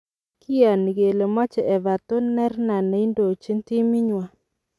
Kioni kele moche Everton nerna neindojin timii nywan.